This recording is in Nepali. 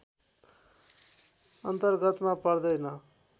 अन्तर्गतमा पर्दैन